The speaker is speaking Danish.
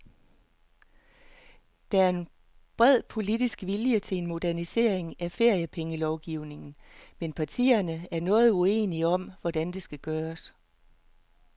Der er bred politisk vilje til en modernisering af feriepengelovgivningen, men partierne er noget uenige om, hvordan det skal gøres.